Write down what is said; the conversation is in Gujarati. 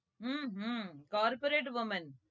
hmm hmm corporate women